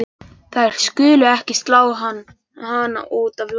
Þær skulu ekki slá hana út af laginu.